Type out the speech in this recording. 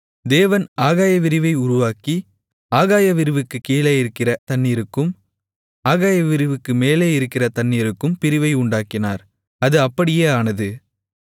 தேவன் ஆகாயவிரிவை உருவாக்கி ஆகாயவிரிவுக்குக் கீழே இருக்கிற தண்ணீருக்கும் ஆகாயவிரிவுக்கு மேலே இருக்கிற தண்ணீருக்கும் பிரிவை உண்டாக்கினார் அது அப்படியே ஆனது